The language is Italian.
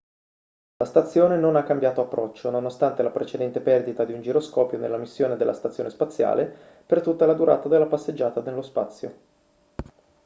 la stazione non ha cambiato approccio nonostante la precedente perdita di un giroscopio nella missione della stazione spaziale per tutta la durata della passeggiata nello spazio